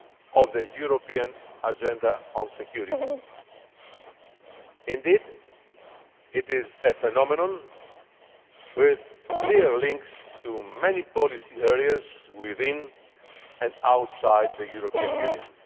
of the European Agenda on Security. Indeed, it is a phenomenon with clear links to many policy areas within and outside the European Union.